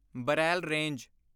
ਬਰੈਲ ਰੰਗੇ